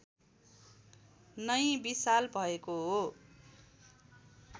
नै विशाल भएको हो